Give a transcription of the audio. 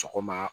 Sɔgɔma